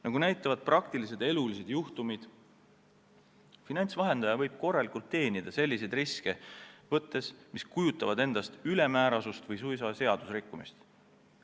Nagu näitavad elulised juhtumid, võib finantsvahendaja ülemääraseid riske võttes või suisa meie seadusi rikkudes korralikult teenida.